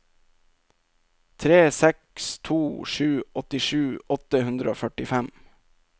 tre seks to sju åttisju åtte hundre og førtifem